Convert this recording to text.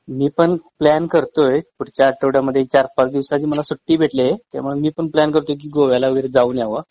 मी पण प्लॅन करतोय.पुढच्या आठवड्यामध्ये ४-५ दिवसाची मला सुट्टी भेटलीये त्यामुळे मी पण प्लॅन करतोय कि गोव्याला वगैरे जाऊन यावं.